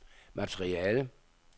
materiale